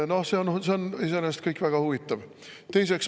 No see on iseenesest kõik väga huvitav.